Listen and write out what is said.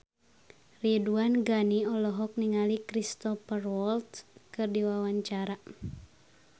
Ridwan Ghani olohok ningali Cristhoper Waltz keur diwawancara